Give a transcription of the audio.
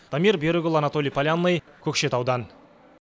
дамир берікұлы анатолий полянный көкшетаудан